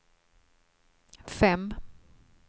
fem